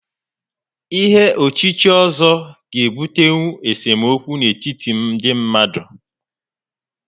Ihé ochíchí ọ́zọ́ ga-ebutenwu esemokwu n'etiti ndị mmadụ